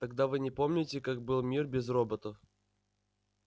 тогда вы не помните каким был мир без роботов